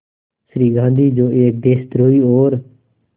श्री गांधी जो एक देशद्रोही और